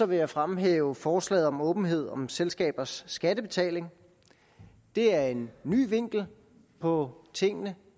vil jeg fremhæve forslaget om åbenhed om selskabers skattebetaling det er en ny vinkel på tingene